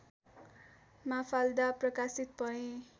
Mafalda प्रकाशित भए